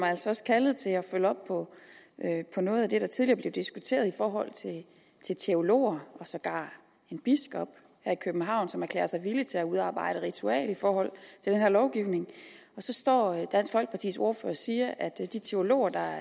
altså også kaldet til at følge op på noget af det der tidligere blev diskuteret i forhold til teologer og sågar en biskop her i københavn som erklærer sig villig til at udarbejde et ritual i forhold til den her lovgivning og så står dansk folkepartis ordfører og siger at de teologer der